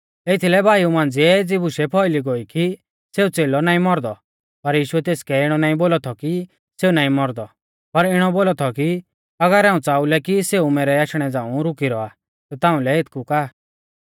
एथीलै भाईऊ मांझ़िऐ एज़ी बुशै फौइली गोई कि सेऊ च़ेलौ नाईं मौरदौ पर यीशुऐ तेसकै इणौ नाईं बोलौ थौ कि सेऊ नाईं मौरदौ पर इणौ बोलौ थौ कि अगर हाऊं च़ाऊ लै कि सेऊ मैरै आशणै झ़ांऊ रुकी रौआ ता ताउंलै एथकु का